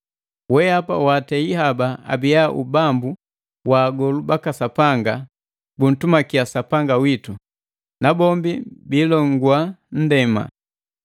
Weapa waatei haba abia ubambu wa agolu baka Sapanga buntumakia Sapanga witu, nabombi biilongua nndema.”